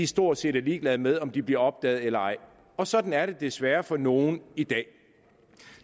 stort set er ligeglade med om de bliver opdaget eller ej og sådan er det desværre for nogle i dag